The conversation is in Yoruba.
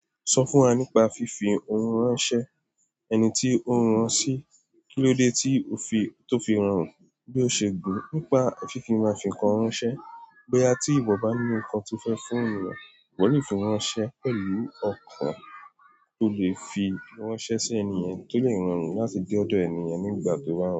Sọ fún wa nípa fífi ohun ránṣẹ́, ẹni tí o rán an sí, kí ló dé tí ó fi tó fi rán, bí ó ṣe gùn nípa fífi mafin kan ránṣẹ́, boyà tí ìwọ bá ní nǹkan tí o fẹ fún ènìyàn, ìwọ le fi ránṣẹ́ pẹ̀lú ọ̀ko tó lè fi ránṣẹ́ sí ènìyàn tó lè ro run láti dé ọ̀dọ̀ ènìyàn nígbà tó ba.